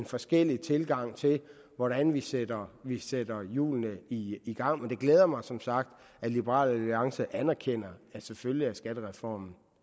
forskellige tilgange til hvordan vi sætter vi sætter i hjulene i gang men det glæder mig som sagt at liberal alliance anerkender at selvfølgelig er skattereformen